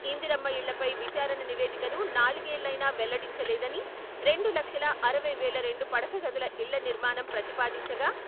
ఇందిరమ్మ ఇళ్లపై విచారణ నివేదికను నాలుగేళ్లయినా వెల్లడించ లేదని రెండు లక్షల అరవై వేల రెండు పడకగదుల ఇళ్ల నిర్మాణం ప్రతిపాదించగా..